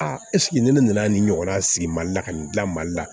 A ne nana nin ɲɔgɔnna sigi mali la ka nin gila mali la